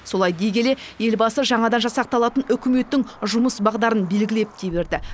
солай дей келе елбасы жаңадан жасақталатын үкіметтің жұмыс бағдарын белгілеп те берді